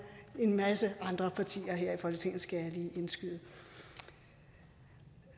en masse andre partier her i folketinget skal jeg lige indskyde